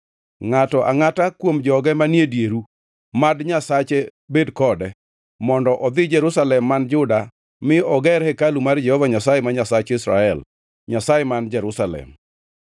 Ngʼato angʼata kuom joge manie dieru, mad Nyasache bed kode, mondo odhi Jerusalem man Juda mi oger hekalu mar Jehova Nyasaye, ma Nyasach Israel, Nyasaye man Jerusalem.